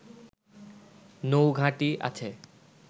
নৌঘাঁটি আছে